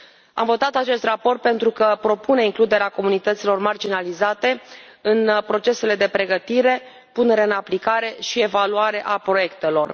Am votat acest raport pentru că propune includerea comunităților marginalizate în procesele de pregătire, punere în aplicare și evaluare a proiectelor.